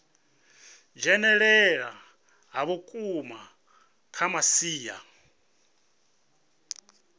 dzhenelela ha vhukuma kha masia